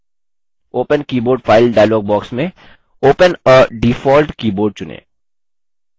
open keyboard file dialog box में open a default keyboard चुनें